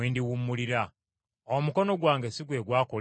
Omukono gwange si gwe gwakola ebyo byonna!’